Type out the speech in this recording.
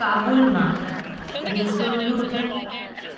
કાબુલમાં Resolute